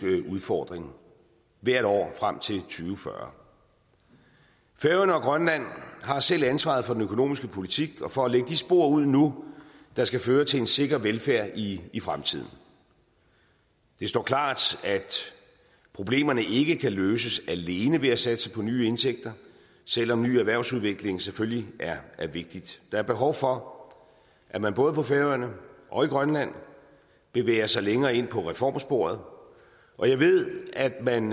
udfordring hvert år frem tusind og fyrre færøerne og grønland har selv ansvaret for den økonomiske politik og for at lægge de spor ud nu der skal føre til en sikker velfærd i i fremtiden det står klart at problemerne ikke kan løses alene ved at satse på nye indtægter selv om ny erhvervsudvikling selvfølgelig er vigtigt der er behov for at man både på færøerne og i grønland bevæger sig længere ind på reformsporet og jeg ved at man